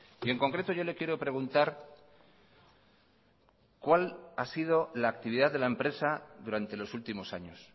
y en concreto yo le quiero preguntar cuál ha sido la actividad de la empresa durante los últimos años